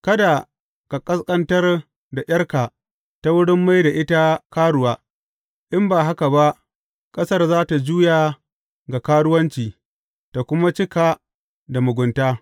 Kada ka ƙasƙantar da ’yarka ta wurin mai da ita karuwa, in ba haka ba ƙasar za tă juya ga karuwanci tă kuma cika da mugunta.